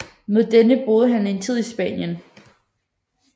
Med denne boede han en tid i Spanien